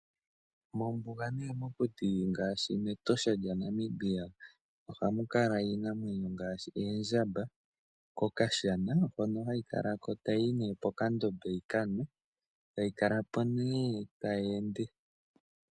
Mombuga nenge mokuti ngaashi mEtosha lyaNamibia ohamu kala iinamwenyo ngaashi eedjamba. Kokashana hoka hayi kala ko, pokandombe yi ka nwe tayi kala po nando tayi ende.